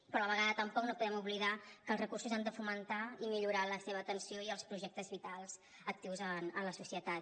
però a la vegada tampoc no podem oblidar que els recursos han de fomentar i millorar la seva atenció i els projectes vitals actius en la societat